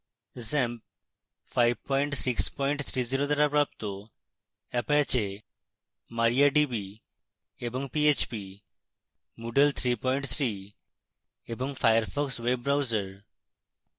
xampp 5630 দ্বারা প্রাপ্ত apache mariadb এবং php